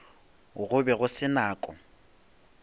go be go se nako